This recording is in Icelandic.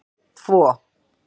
tvo